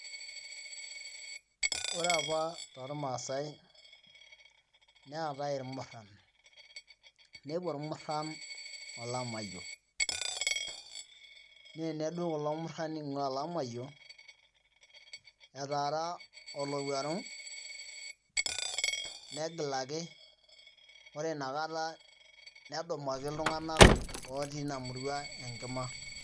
ore apa tolmasae neetae imuran, nepuo imuran olamayio, na nedou kulomuran ing'ua olamayio, etara olowuaru, negilaki, ore nakata nedumaki tung'ana oti ina murua enkima.